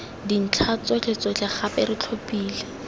dintlha tsotlhetsotlhe gape re tlhophile